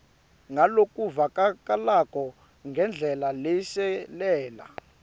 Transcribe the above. ngalokuvakalako ngendlela leshelela